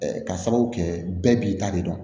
ka sababu kɛ bɛɛ b'i ta de dɔn